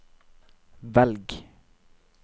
velg